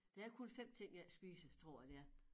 Det er kun 5 ting jeg ikke spiser tror jeg det er